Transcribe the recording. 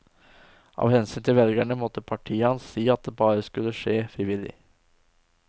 Av hensyn til velgerne måtte partiet hans si at det bare skulle skje frivillig.